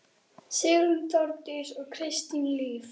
Sigrún, Þórdís og Kristín Líf.